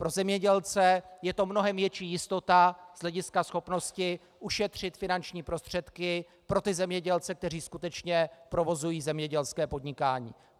Pro zemědělce je to mnohem větší jistota z hlediska schopnosti ušetřit finanční prostředky, pro ty zemědělce, kteří skutečně provozují zemědělské podnikání.